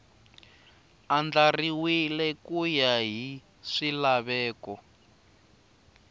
andlariwile ku ya hi swilaveko